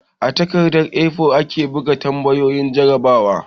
A takardar 'A4'aka bugo tambayoyin jarrabawa